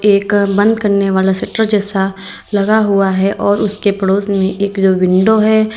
एक बन्द करने वाला शटर जैसा लगा हुआ है और उसके पड़ोस में एक विंडो है।